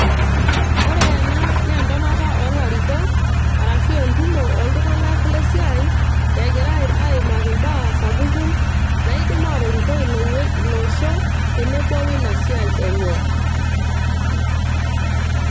ore ena naa entonata oolarikok arashu entumo oltung'anak lesiai egira aimaki imbaa sapukin naidim atorikoi ilo wueji ilo osho tenebo woina siai enye.